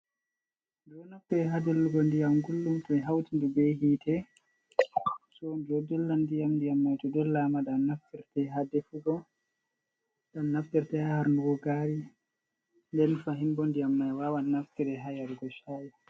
Ɓeɗo naftire ha dollugo ndiyam gullum to ɓe hauti nde be hite. So ɗo dolla ndiyam, ndiyam mai to dollama ɗam naftirte ha defugo, ɗum naftirte ha harnugo gari, nden fahin bo ndiyam mai wawan naftire ha yarugo sha'i.